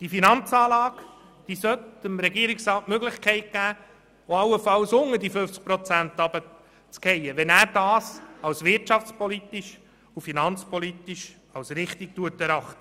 Die Finanzanlage sollte dem Regierungsrat die Möglichkeit geben, allenfalls unter 50 Prozent der Beteiligung zu fallen, wenn er dies als wirtschafts- und finanzpolitisch richtig erachtet.